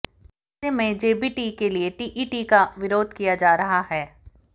ऐसे में जेबीटी के लिए टीईटी का विरोध किया जा रहा है